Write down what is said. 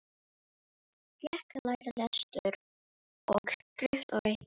Hann fékk að læra lestur og skrift og reikning.